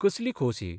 कसली खोस ही?